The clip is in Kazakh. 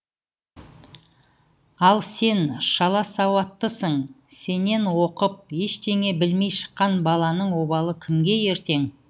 ал сен шала сауаттысың сенен оқып ештеңе білмей шыққан баланың обалы кімге ертең